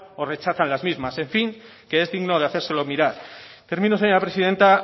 o rechazan las mismas en fin que es digno de hacérselo mirar termino señora presidenta